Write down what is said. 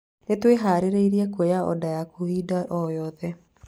Nĩ twĩhaarĩirie kuoya oda yaku hĩndĩ o yothe